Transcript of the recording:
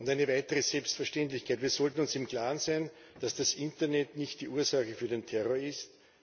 Eine weitere Selbstverständlichkeit Wir sollten uns im Klaren sein, dass das Internet nicht die Ursache für den Terror ist